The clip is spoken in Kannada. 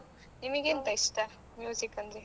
ನಿಮಿಗೆ ಎಂತ ಇಷ್ಟ ಅಂದ್ರೆ?